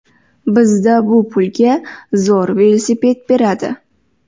Bizda bu pulga zo‘r velosiped beradi.